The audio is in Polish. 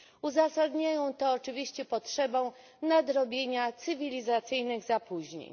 Uzasadniają to oczywiście potrzebą nadrobienia cywilizacyjnych zapóźnień.